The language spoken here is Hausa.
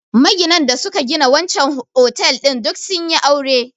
Maginan da suka gina wancen otal ɗin duk sun yi aure